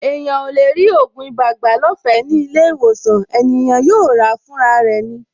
Ènìyàn ò lè rí ògùn ibà gbà lọ́fẹ̀ẹ́ ní ilé-ìwòsàn; ènìyàn yóò ràá fúnra rẹ̀ ni.